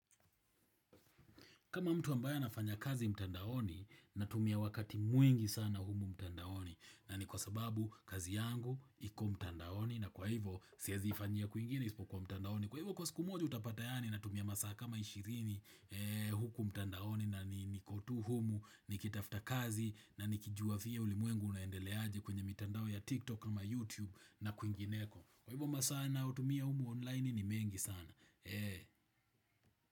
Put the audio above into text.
Kama mtu ambaye anafanya kazi mtandaoni natumia wakati mwingi sana humu mtandaoni na ni kwa sababu kazi yangu iko mtandaoni na kwa hivyo siezi ifanyia kwingine isipokuwa mtandaoni. Kwa hivyo kwa siku moja utapata yaani natumia masaa kama ishirini huku mtandaoni na niko tu humu nikitafta kazi na nikijuavyo ulimwengu unaendele aje kwenye mitandao ya TikTok kama YouTube na kwingineko. Kwa hivyo masaa nayotumia humu online ni mengi sana.